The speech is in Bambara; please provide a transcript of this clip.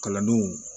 Kalandenw